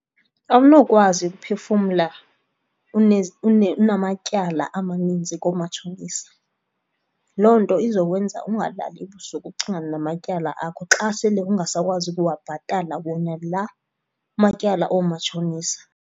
Awunokwazi ukuphefumla unamatyala amaninzi koomatshonisa. Loo nto izokwenza ungalali ebusuku ukucingana namatyala akho xa sele ungasakwazi ukuwabhatala wena la matyala oomatshonisa.